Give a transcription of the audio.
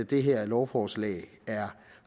det her lovforslag er